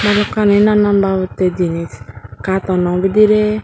hukani nanan babottey jinich cartoon no bidire.